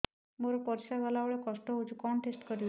ମୋର ପରିସ୍ରା ଗଲାବେଳେ କଷ୍ଟ ହଉଚି କଣ ଟେଷ୍ଟ କରିବି